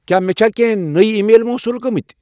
کیا مے چھا کینٛہہ نَیِہ ای میل موصوٗل گمژٕ ؟